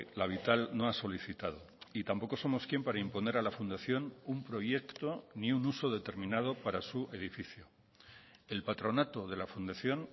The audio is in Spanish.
la vital no ha solicitado y tampoco somos quien para imponer a la fundación un proyecto ni un uso determinado para su edificio el patronato de la fundación